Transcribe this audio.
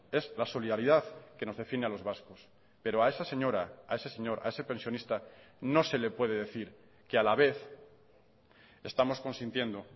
es la solidaridad que nos define a los vascos pero a esa señora a ese señor a ese pensionista no se le puede decir que a la vez estamos consintiendo